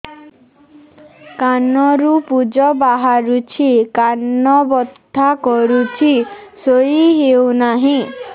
କାନ ରୁ ପୂଜ ବାହାରୁଛି କାନ ବଥା କରୁଛି ଶୋଇ ହେଉନାହିଁ